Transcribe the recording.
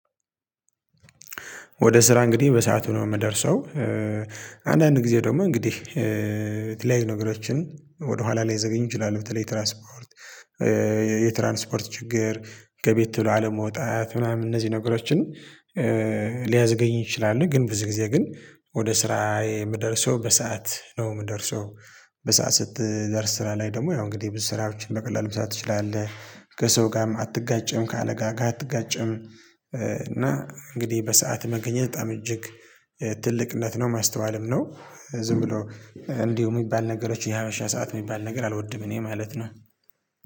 ወደ ስራ እንግዲህ በሰአቱ ነው የምደርሰው። አንዳንድ ጊዜ ደግሞ እንግዲህ የተለያዩ ነገሮችን ወደ ኋላ ላይዘገኝ ይችላል። በተለይ ትራንስፖርት። የትራንስፖርት ችግር ከቤት ቶሎ አለመውጣት ምናምን እነዚህ ነገሮችን ሊያዝገኝ ይችላል። ግን ብዙ ጊዜ ግን ወደ ስራዬ የምደርሰው በሰአት ነው የምደርሰው። በሰአት ስትደርስ ስራ ላይ ደግሞ ያው እንግዲህ ብዙ ስራዎችን በቀላሉ መስራት ትችላለህ ከሰው ጋርም አትጋጭም ከአለቃ ጋር አትጋጭም። እና እንግዲህ በሰአት መገኘት በጣም እጅግ ትልቅነት ነው ማስተዋልም ነው። ዝም ብሎ እንዲሁ የሚባል ነገሮች የሀብርሻ ሰዓት የሚባል ነገር አልወድም እኔ ማለት ነው።